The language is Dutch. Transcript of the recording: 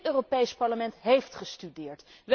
Dit Europees Parlement heeft gestudeerd.